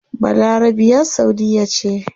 Balarabiya saudiyya ce